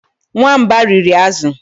Nwamba riri azụ